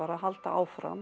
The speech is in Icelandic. að halda áfram